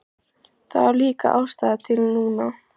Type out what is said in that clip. Það var líka ástæða til núna.